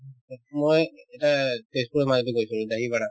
মই এতিয়া এই তেজপুৰত মই এদিন খাইছিলো dahi vada